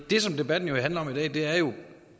det som debatten handler om i dag er jo